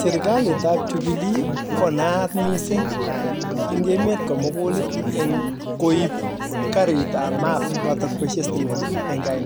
Serkalit ab jubilee kiib karit ab maat notok baishei sitimet konetee